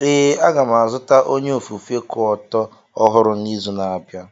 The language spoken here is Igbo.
Ee, a ga m azụta onye ofufe kuoto ọhụrụ n'izu na-abịa.